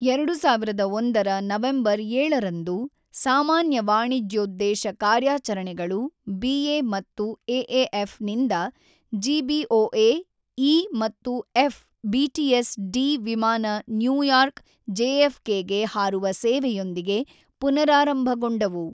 ೨೦೦೧ರ ನವೆಂಬರ್ ೭ರಂದು ಸಾಮಾನ್ಯ ವಾಣಿಜ್ಯೋದ್ದೇಶ ಕಾರ್ಯಾಚರಣೆಗಳು ಬಿಎ ಮತ್ತು ಎಎಫ್ ನಿಂದ ಜಿ ಬಿಓಎಈ ಮತ್ತು ಎಫ್ ಬಿಟಿಎಸ್ ಡಿ ವಿಮಾನ ನ್ಯೂಯಾರ್ಕ್ ಜೆಎಫ್ ಕೆಗೆ ಹಾರುವ ಸೇವೆಯೊಂದಿಗೆ ಪುನರಾರಂಭಗೊಂಡವು.